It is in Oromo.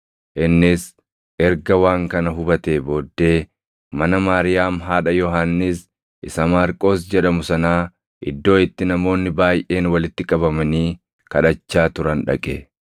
Innis erga waan kana hubatee booddee mana Maariyaam haadha Yohannis isa Maarqos jedhamu sanaa iddoo itti namoonni baayʼeen walitti qabamanii kadhachaa turan dhaqe.